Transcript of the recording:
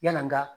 Yala nga